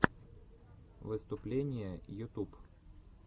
выступления ютуб